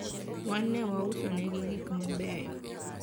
wan ne wauso negi gik mabeyo